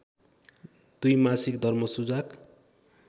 २ मासिक धर्म सुजाक